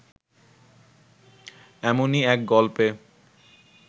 এমনই এক গল্পে